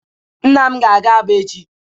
Nna m ga-aga Aba echi.